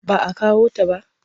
Ba a kawo ta ba.